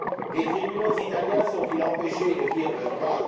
Les tribunaux italiens sont ils empêchés de dire le droit?